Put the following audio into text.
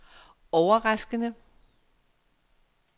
overraskende